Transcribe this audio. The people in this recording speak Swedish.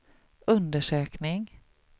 undersökning